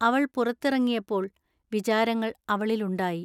അവൾ പുറത്തിറങ്ങിയപ്പോൾ ൟ വിചാരങ്ങൾ അവളിൽ ഉണ്ടായി.